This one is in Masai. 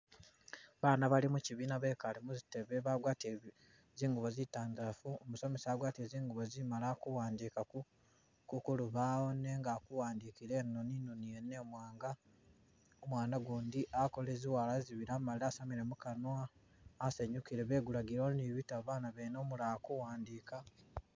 Baana bali mukyibiina bekale muzitebe bagwatile zingubo zitandalafu, umusomesa wagwatile zingubo zimali, akuwandika ku- ku lubawo nenga akuwandikila inoni, inoni yene iwanga, umwana gundi akolele zi lwala zibili amalile asamile mukanwa asanyunkile, begulagilewo ni bitabo bana bene umulala aku wandika.